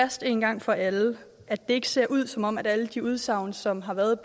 fast en gang for alle at det ikke ser ud som om alle de udsagn som har været